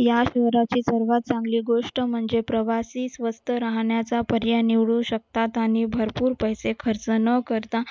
या सर्वात चांगली गोष्ट म्हणजे प्रवासी स्वस्त राहण्याचा प्रिया निवडू शकतात आणि भरपूर पैसे खर्च न करता